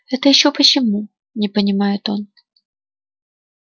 это ещё почему не понимает он